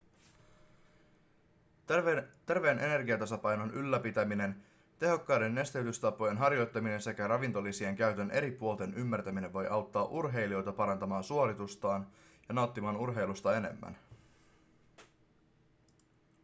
terveen energiatasapainon ylläpitäminen tehokkaiden nesteytystapojen harjoittaminen sekä ravintolisien käytön eri puolten ymmärtäminen voi auttaa urheilijoita parantamaan suoritustaan ja nauttimaan urheilusta enemmän